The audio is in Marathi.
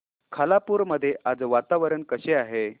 खालापूर मध्ये आज वातावरण कसे आहे